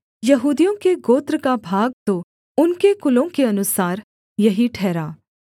यहूदियों के गोत्र का भाग तो उनके कुलों के अनुसार यही ठहरा